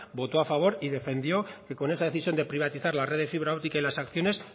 votó a favor y defendió que con esa decisión de privatizar la red de fibra óptica y las acciones